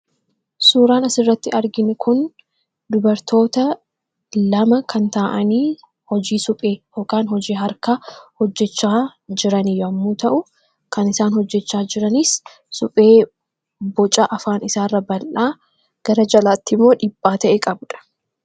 Suuraan asirratti arginu kun dubartoota lama kan taa'anii, hojii suphee yookaan hojii harkaa hojjachaa jiran yommuu ta'u, kan isaan hojjachaa jiranis suphee boca afaan isaarra bal'aa gara jalaattimmoo dhiphaa ta'e qabudha.